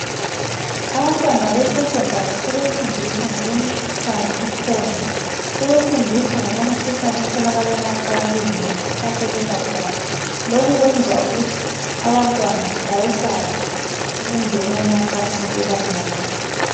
Absntwans besevondwry sebetunfiswa ngemikhuhlane ekhona. Sebefundiswa ngokwemikhuhlane etholakala emacansini ngoba sekuthiwa sebebadala. Lokhu kwenza abantwana bayesabe ukungena emacansini bebancane.